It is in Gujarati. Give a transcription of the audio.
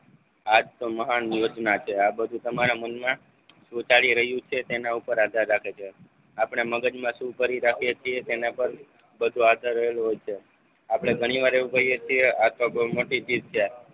આજ તો મહાન દિવસ ના છે આ બધું તમારા મનમાં સુટાડી રહ્યું છે તેના ઉપર આધાર રાખે છે. આપણે મગજ માં શું ભરી રાખીએ છે તેના પર બધો આધાર રહેલો હોય છે. આપણે ઘણી વાર એવું કહીએછીએ આ તો બહુ મોટી ચીજ છે.